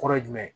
Kɔrɔ ye jumɛn ye